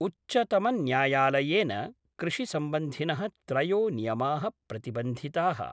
उच्चतमन्यायालयेन कृषिसम्बन्धिनः त्रयो नियमाः प्रतिबन्धिताः।